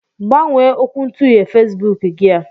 Gbanwee okwuntughe Fesbuk gị a.